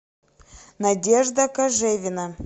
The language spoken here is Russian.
надежда кожевина